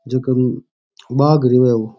जको बाघ री है वो --